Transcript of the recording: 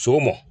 So mɔ